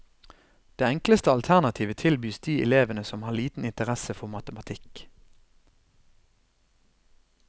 Det enkleste alternativet tilbys de elevene som har liten interesse for matematikk.